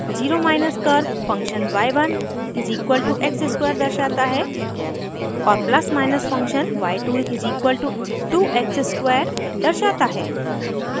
0 curve function y1=x square दर्शाता है और + फंक्शन y2=2*x^2 y2=2x स्क्वायर दर्शाता है